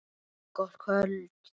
Gott kvöld.